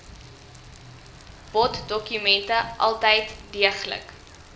boddokumente altyd deeglik